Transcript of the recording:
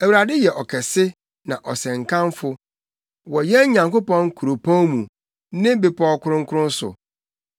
Awurade yɛ ɔkɛse na ɔsɛ nkamfo, wɔ yɛn Nyankopɔn kuropɔn mu, ne bepɔw kronkron so.